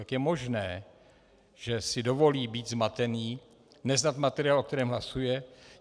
Jak je možné, že si dovolí být zmatený, neznat materiál, o kterém hlasuje?